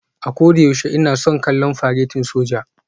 A koyaushe ina son kallon faretin soja